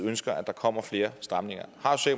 ønsker at der kommer flere stramninger